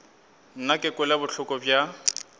nna ke kwele bohloko bja